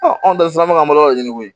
anw da bɛ ka malo ɲini koyi